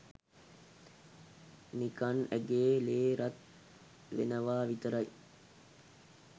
නිකන් ඇගේ ලේ රත් වෙනවා විතරයි